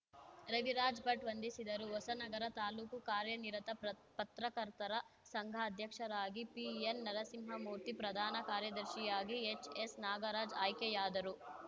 ರವಿರಾಜ್‌ ಭಟ್‌ ವಂದಿಸಿದರು ಹೊಸನಗರ ತಾಲೂಕು ಕಾರ್ಯನಿರತ ಪ್ರತ್ ಪತ್ರಕರ್ತರ ಸಂಘ ಅಧ್ಯಕ್ಷರಾಗಿ ಪಿಎನ್‌ ನರಸಿಂಹಮೂರ್ತಿ ಪ್ರಧಾನ ಕಾರ್ಯದರ್ಶಿಯಾಗಿ ಎಚ್‌ಎಸ್‌ ನಾಗರಾಜ್‌ ಆಯ್ಕೆಯಾದರು